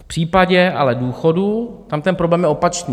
V případě ale důchodů tam ten problém je opačný.